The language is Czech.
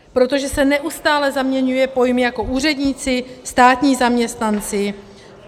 Protože se neustále zaměňuje pojem jako úředníci - státní zaměstnanci.